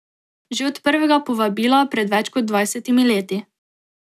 Že od prvega povabila pred več kot dvajsetimi leti.